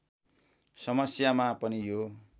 समस्यामा पनि यो